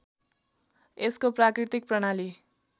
यसको प्राकृतिक प्रणाली